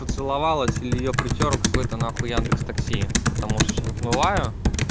поцеловалась или её притёр какой-то нахуй яндекс такси потому что сейчас отмываю